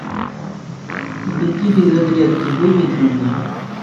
беги без оглядки выведи мне